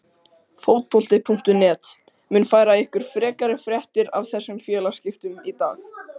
Fótbolti.net mun færa ykkur frekari fréttir af þessum félagaskiptum í dag.